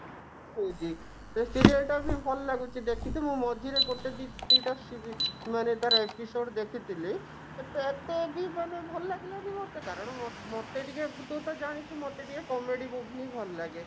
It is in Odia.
ହଉଛି ସେ serial ଟା ବି ଭଲ ଲାଗୁଛି ଦେଖିତେ ମୁଁ ମଝିରେ ଗୋଟେ ଦି ଦି ଟା ସି ମାନେ ତାର episode ଦେଖିଥିଲି ଏତେ ଏତେ ବି ମାନେ ଭଲ ଲାଗିଲାନି ମୋତେ କାରଣ ମୋ ମୋତେ ଟିକେ ତୁ ତ ଜାଣିଛୁ ମୋତେ ଟିକେ comedy movie ହିଁ ଭଲ ଲାଗେ